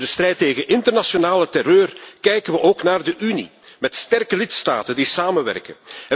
Voor de strijd tegen internationale terreur kijken we ook naar de Unie, met sterke lidstaten die samenwerken.